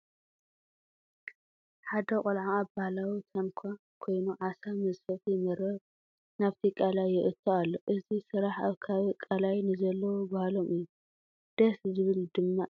ሓደ ቆልዓ ኣብ ባህላዊ ታንዃ ኮይኑ ዓሳ መዝፈፊ መርበብ ናብቲ ቃላይ የእቱ ኣሎ፡፡ እዚ ስራሕ ኣብ ከባቢ ቃላይ ንዘለዉ ባህሎም እዩ፡፡ ደስ ዝብል ድማ እዩ፡፡